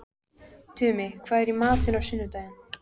Tumi, hvað er í matinn á sunnudaginn?